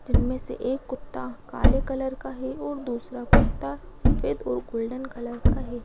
जिनमें से एक कुत्ता काले कलर का है और दूसरा कुत्ता सफेद और गोल्डन कलर का है।